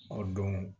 O don